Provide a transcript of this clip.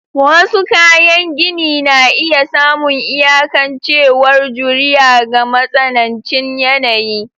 Wasu kayan gini na iya samun iyakancewar juriya ga matsanancin yanayi.